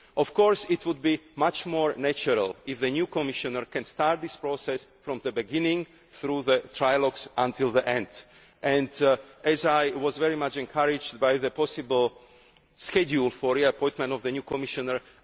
agreement. Of course, it would be much more natural if the new Commissioner could start this process from the beginning, through the trialogues, until the end. I was very encouraged by the possible schedule for the appointment of the new